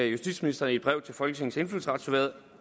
justitsministeren i et brev til folketingets indfødsretsudvalg